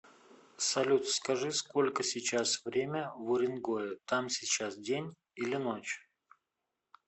салют скажи сколько сейчас время в уренгое там сейчас день или ночь